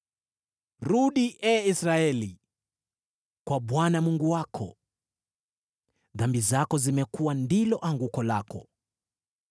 Rudi, ee Israeli, kwa Bwana Mungu wako. Dhambi zako zimekuwa ndilo anguko lako!